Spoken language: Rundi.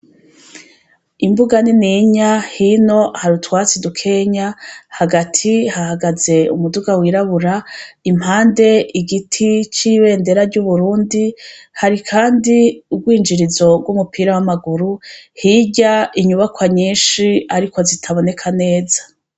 Imbuga nininya, hino hari utwatsi dukenya, hagati hahagaze umuduga wirabura, impande igiti c' ibendera ry' Uburundi, hari kandi urwinjirizo rw' umupira w' amaguru, hirya inyubakwa nyinshi ariko zitaboneka neza .